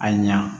A ɲa